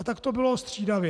A tak to bylo střídavě.